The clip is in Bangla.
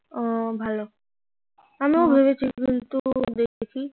ও ভালো আমিও ভেবেছি কিন্তু দেখি